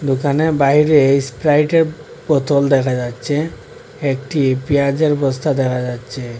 দোকানের বাইরে স্প্রাইটের বোতল দেখা যাচ্ছে একটি পেঁয়াজের বস্তা দেখা যাচ্ছে।